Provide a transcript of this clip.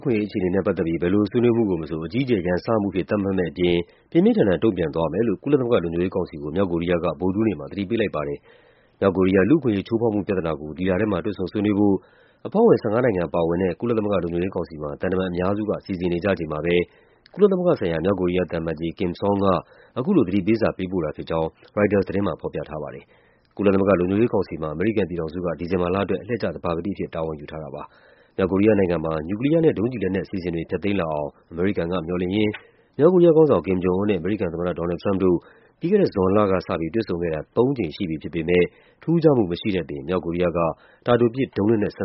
ခွင့်ရေး အခြေနေနဲ့ ပတ်သက်ပြီး ဘယ်ဆွေးနွေးမှုကိုမဆို အကြီးအကျယ်ရန်စမှု အဖြစ် သတ်မှတ်မယ့်အပြင် ပြင်းပြင်းထန်ထန်လည်း တုန့်ပြန်သွားမယ်လို့ မြောက်ကိုရီးယားက ကုလသမဂ္ဂလုံခြုံရေးကောင်စီကို ဗုဒ္ဓဟူးနေ့က ပြောကြားလိုက်ပါတယ်။ မြောက်ကိုရီးယား လူ့အခွင့်ရေးချိုးဖေါက်မှု ပြဿနာကို ဒီလထဲမှာ တွေ့ဆုံဆွေးနွေးဖို့ အဖွဲ့ဝင် ၁၅ နိုင်ငံပါဝင်တဲ့ ကုလလုံခြုံရေးကောင်စီမှာ သံတမန်အများစုက စီစဉ်နေကြချိန်မှာပဲ ကုလသမဂ္ဂဆိုင်ရာ မြောက်ကိုရီးယားသံအမတ်ကြီး Kim Song က အခုလို သတိပေးစာ ပေးပို့ခဲ့တာ ဖြစ်ကြောင်း ရိုက်တာသတင်းမှာ ဖေါ်ပြထားပါတယ်။ ကုလသမဂ္ဂလုံခြုံရေးကောင်စီမှာ အမေရိကန်ပြည်ထောင်စုက ဒီဇင်ဘာလအတွက် အလှည့်ကျ သဘာပတိအဖြစ် တာဝန်ယူထားတာ ဖြစ်ပါတယ်။ မြောက်ကိုရီးယားနိုင်ငံမှာ နျူကလီယားနဲ့ ဒုံးကျည်လက်နက် အစီအစဉ်တွေ ဖျက်သိမ်းလာအောင် အမေရိကန်က မျှော်လင့်ရင်း မြောက်ကိုရီးယား ခေါင်းဆောင် Kim Jong Un နဲ့ အမေရိကန်သမ္မတ Donald Trump တို့ မနှစ်က ဇွန်လကစပြီး တွေ့ဆုံခဲ့တာ ၃ ကြိမ်ရှိပြီဖြစ်ပေမယ့် ထူးခြားမှု မရှိတဲ့အပြင် မြောက်ကိုရီးယားက တာတိုပစ် ဒုံးလက်နက်စ